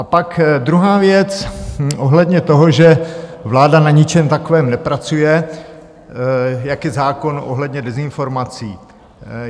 A pak druhá věc ohledně toho, že vláda na ničem takovém nepracuje, jako je zákon ohledně dezinformací.